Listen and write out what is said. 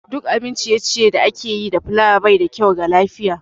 Duk abin ciye-ciye da ake yi da fulawa baida kyau ga lafiya